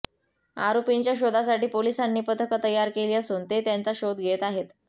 आरोपींच्या शोधासाठी पोलिसांनी पथकं तयार केली असून ते त्यांचा शोध घेत आहेत